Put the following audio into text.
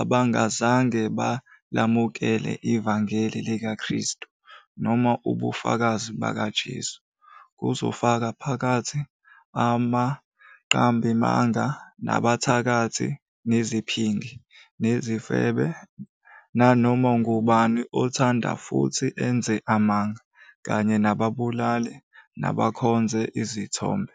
"abangazange balamukele ivangeli likaKristu, noma ubufakazi bukaJesu."Kuzofaka phakathi "abaqambimanga, nabathakathi, neziphingi, nezifebe, nanoma ngubani othanda futhi enze amanga", kanye "nababulali, nabakhonza izithombe".